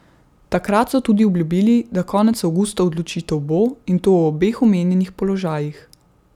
Takrat so tudi obljubili, da konec avgusta odločitev bo, in to o obeh omenjenih položajih.